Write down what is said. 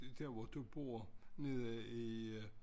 Der hvor du bor nede i